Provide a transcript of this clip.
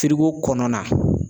kɔnɔna na.